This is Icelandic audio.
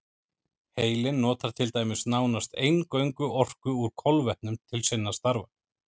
Heilinn notar til dæmis nánast eingöngu orku úr kolvetnum til sinna stafa.